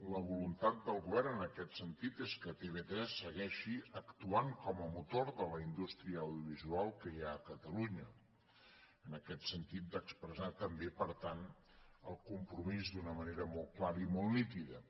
la voluntat del govern en aquest sentit és que tv3 segueixi actuant com a motor de la indústria audiovisual que hi ha a catalunya en aquest sentit d’expressar també per tant el compromís d’una manera molt clara i molt nítida